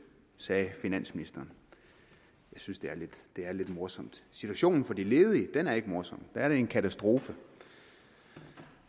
sagde finansministeren jeg synes det er lidt morsomt situationen for de ledige er ikke morsom for er det en katastrofe